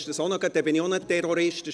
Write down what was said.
Dann bin ich halt auch ein Terrorist.